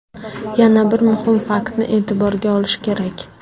Yana bir muhim faktni e’tiborga olish kerak.